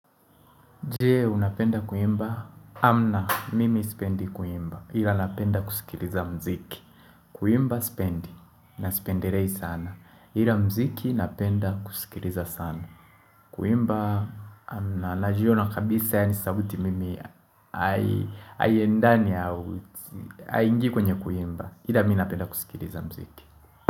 Je unapenda kuimba, hamna mimi sipendi kuimba, ila napenda kusikiliza mziki. Kuimba sipendi, na sipendirei sana. Ila mziki napenda kusikiliza sana. Kuimba hamna, najiona kabisa ni sauti mimi hai endani, haingii kwenye kuimba. Ila minapenda kusikiriza mziki.